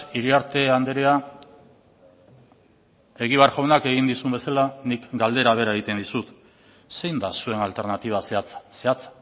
iriarte andrea egibar jaunak egin dizudan bezala galdera bera egiten dizut zein da zuen alternatiba zehatza zehatza